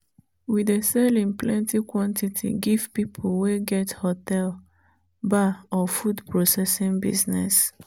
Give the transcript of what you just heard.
we dey sell in plenty quantity give people wey get hotel bar or food processing business.